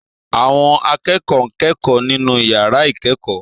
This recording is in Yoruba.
Àwọn akẹ́kọ̀ọ́ ń kẹ́kọ̀ọ́ nínú yàrá ìkẹ́kọ̀ọ́